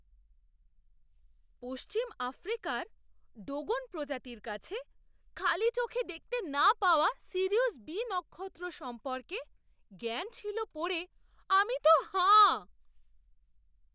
পশ্চিম আফ্রিকার ডোগন প্রজাতির কাছে খালি চোখে দেখতে না পাওয়া সিরিয়ুস বি নক্ষত্র সম্পর্কে জ্ঞান ছিল পড়ে আমি তো হাঁ!